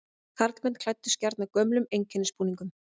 Karlmenn klæddust gjarnan gömlum einkennisbúningum.